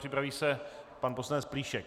Připraví se pan poslanec Plíšek.